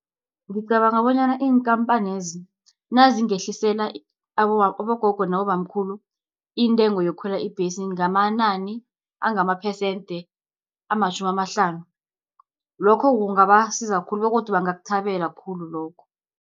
Ngicabanga bonyana iinkampanezi nazingehlisela abogogo nabobamkhulu, intengo yokukhwela ibhesi, ngamanani angamaphesente amatjhumi amahlanu, lokho kungabasiza khulu, begodu bangakuthabele khulu lokho.